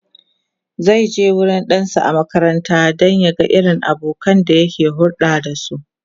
zaije wurin ɗansa a makaranta domin ya ga irin abokanan da yake hulɗa da su